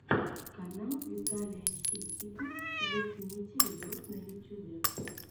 канал виталия ситника зацените видос на ютюбе